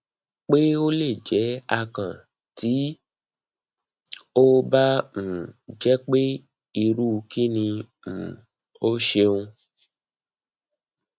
pe o le jẹ akàn ti o ba um jẹ pe iru kini um o ṣeun